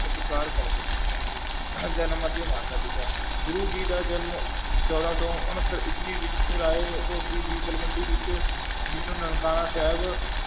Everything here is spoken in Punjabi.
ਸਤਿਕਾਰ ਕਰਦੇ ਹਨ ਜਨਮ ਅਤੇ ਮਾਤਾ ਪਿਤਾ, ਗੁਰੂ ਜੀ ਦਾ ਜਨਮ ਚੌਦਾਂ ਸੌ ਉਣੱਤਰ ਈਸਵੀ ਵਿੱਚ ਰਾਇ ਦੀ ਤਲਵੰਡੀ ਵਿੱਚ ਜਿਸਨੂੰ ਨਨਕਾਣਾ ਸਾਹਿਬ